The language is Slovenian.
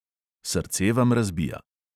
Srce vam razbija.